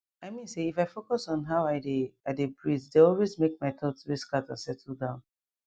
i mean say if i focus on how i dey i dey breathee dey always make my thoughts wey scatter settle down